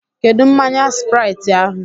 Kedụ mmanya Sprait ahụ?